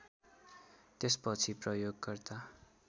त्यसपछि प्रयोगकर्ता